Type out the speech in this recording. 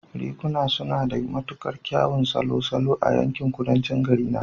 Riguna suna da matuƙar kyawun salon salo a yankin Kudancin garina